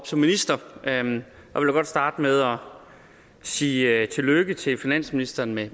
som minister og jeg vil godt starte med at sige tillykke til finansministeren med